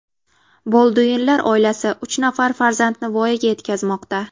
Bolduinlar oilasi uch nafar farzandni voyaga yetkazmoqda.